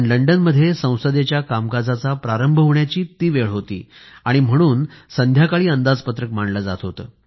लंडनमध्ये संसदेच्या कामकाजाचा प्रारंभ होण्याची ती वेळ होती म्हणून संध्याकाळी अंदाजपत्रक मांडले जात होते